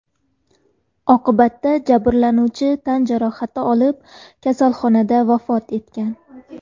Oqibatda jabrlanuvchi tan jarohati olib, kasalxonada vafot etgan.